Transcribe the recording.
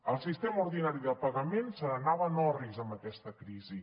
el sistema ordinari de pagament se n’anava en orris amb aquesta crisi